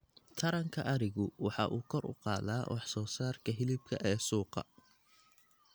Taranka arigu waxa uu kor u qaadaa wax soo saarka hilibka ee suuqa.